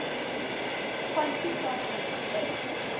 van toepassing is